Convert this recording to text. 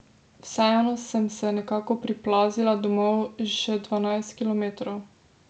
Vseeno sem se nekako priplazila domov še dvanajst kilometrov.